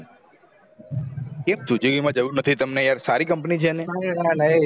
કેમ suzuki જાવું તમને નથી યાર સારી company છે ન